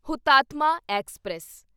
Hutatma express